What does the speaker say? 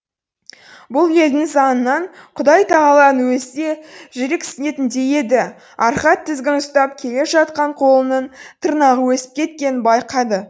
бұл елдің заңынан құдайтағаланың өзі де жүрексінетіндей еді архат тізгін ұстап келе жатқан қолының тырнағы өсіп кеткенін байқады